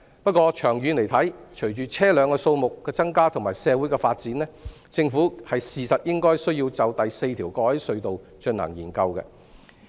不過，長遠而言，隨着車輛數目增加和社會發展，政府確實應該就第四條過海隧道進行研究。